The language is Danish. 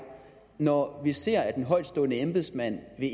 når vi ser at en højtstående embedsmand ved